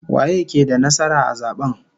Waye ke da nasara a zaben?